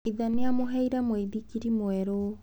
Ithe nĩ aamũheire mũithikiri mwerũ.